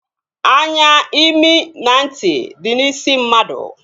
Anya, imi na ntị dị n'isi mmadụ